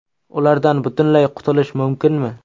Ulardan butunlay qutulish mumkinmi?.